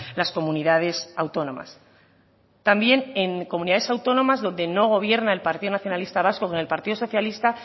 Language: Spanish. las comunidades autónomas también en comunidades autónomas donde no gobierna el partido nacionalista vasco con el partido socialista